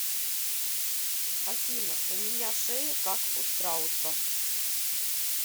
афина у меня шея как у страуса